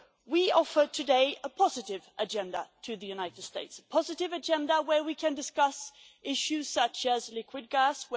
Today we offer a positive agenda to the United States a positive agenda where we can discuss issues such as liquid gas